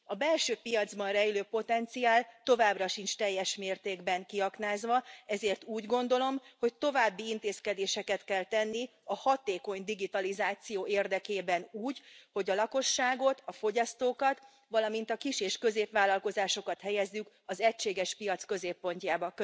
A belső piacban rejlő potenciál továbbra sincs teljes mértékben kiaknázva, ezért úgy gondolom, hogy további intézkedéseket kell tenni a hatékony digitalizáció érdekében úgy, hogy a lakosságot, a fogyasztókat, valamint a kis és középvállalkozásokat helyezzük az egységes piac középpontjában.